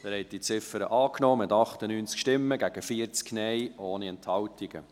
Sie haben diese Ziffer angenommen, mit 98 Ja- gegen 40 Nein-Stimmen, ohne Enthaltungen.